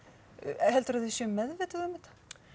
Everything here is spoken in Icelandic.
heldurðu að þau séu meðvituð um þetta